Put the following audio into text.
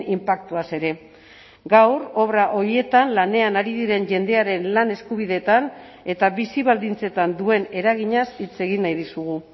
inpaktuaz ere gaur obra horietan lanean ari diren jendearen lan eskubideetan eta bizi baldintzetan duen eraginaz hitz egin nahi dizugu